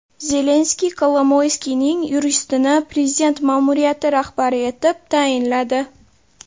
Zelenskiy Kolomoyskiyning yuristini prezident ma’muriyati rahbari etib tayinladi.